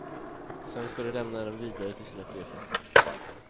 Sedan ska de lämna dem vidare till sina chefer.